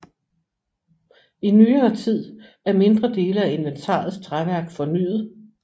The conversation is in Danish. I nyere tid er mindre dele af inventarets træværk fornyet